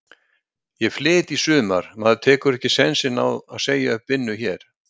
Ég flyt í sumar, maður tekur ekki sénsinn á að segja upp vinnu hér.